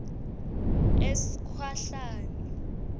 esikhwahlane